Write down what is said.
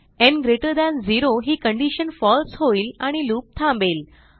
न् greater than 0 ही condition फळसे होईल आणि लूप थांबेल